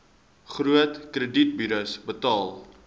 groot kredietburos betaal